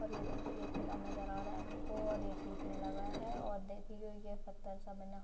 और यह देखिये एक किला नजर आ रहा है हमको और यह टूटने लगा है और देखिये यह पत्थर से बना --